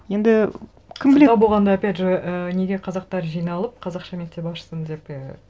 енді кім біледі сылтау болғанда опять же ы неге қазақтар жиналып қазақша мектеп ашсын деп і